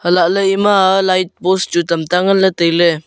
hai lahley ema light post chu tamta nganley tailey.